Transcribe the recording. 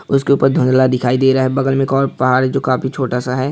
उसके ऊपर धुंधला दिखाई दे रहा है बगल में एक ओर पहाड़ है जो काफी छोटा सा है।